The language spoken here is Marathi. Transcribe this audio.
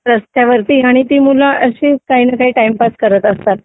रस्त्यावरती आणि ती मुलं अशीच काही ना काही टाईमपास करत असतात